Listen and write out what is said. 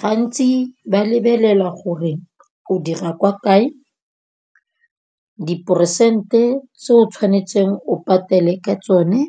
Gantsi ba lebelela gore o dira kwa kae, diperesente tse o tshwanetseng o patele ka tsone